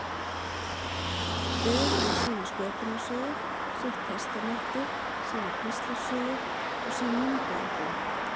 Hver með sína sköpunarsögu, sitt testamenti, sína píslarsögu og sín myndaalbúm.